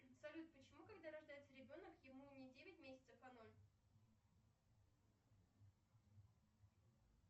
салют почему когда рождается ребенок ему не девять месяцев а ноль